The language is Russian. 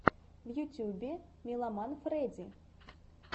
в ютюбе милламан фрэди